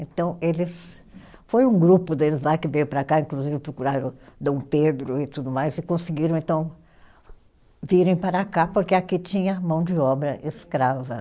Então eles, foi um grupo deles lá que veio para cá, inclusive procuraram Dom Pedro e tudo mais, e conseguiram, então, virem para cá, porque aqui tinha mão de obra escrava.